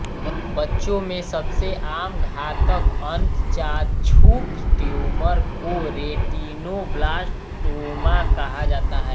बच्चों में सबसे आम घातक अंतःचाक्षुष ट्यूमर को रेटिनोब्लास्टोमा कहा जाता है